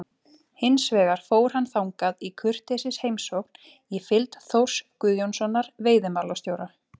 Hins vegar fór hann þangað í kurteisisheimsókn í fylgd Þórs Guðjónssonar veiðimálastjóra.